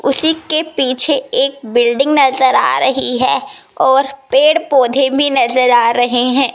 उसी के पीछे एक बिल्डिंग नजर आ रही है और पेड़ पौधे भी नजर आ रहे हैं।